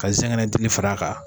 Ka zɛgɛnɛ dili far'a kan